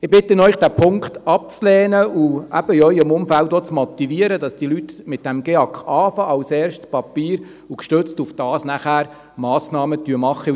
Ich bitte Sie, diesen Punkt abzulehnen, und in Ihrem Umfeld auch zu motivieren, dass die Leute mit dem GEAK anfangen, als erstes Papier, und gestützt darauf nachher Massnahmen ergreifen.